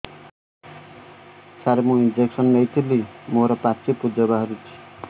ସାର ମୁଁ ଇଂଜେକସନ ନେଇଥିଲି ମୋରୋ ପାଚି ପୂଜ ବାହାରୁଚି